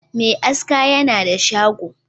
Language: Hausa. Me aski yana da shago